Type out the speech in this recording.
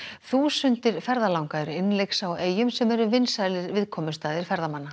þúsundir ferðalanga eru innlyksa á eyjum sem eru vinsælir viðkomustaðir ferðamanna